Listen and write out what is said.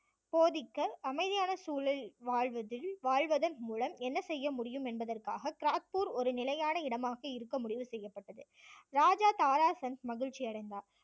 போதிக்க அமைதியான சூழ்நிலை வாழ்வத~ வாழ்வதன் மூலம் என்ன செய்ய முடியும் என்பதற்காக கிராத்பூர் ஒரு நிலையான இடமாக இருக்க முடிவு செய்யப்பட்டது. ராஜா தாரா சந்த் மகிழ்ச்சி அடைந்தார்